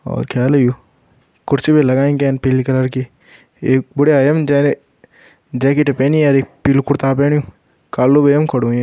और क्या वाल यू कुर्सी भीं लगाईं कैन पीली कलर की एक बुढया ए यमु जैन जैकेट पैनी और एक पीलु कुर्ता पैणयुखाली यमु खड़ु वयुं।